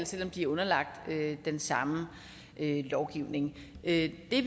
selv om de er underlagt den samme lovgivning det vi